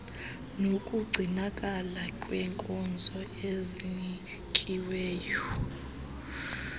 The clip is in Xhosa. nokugcinakala kwenkonzo ezinikiweyo